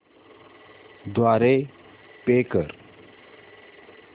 द्वारे पे कर